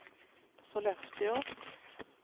Sollefteå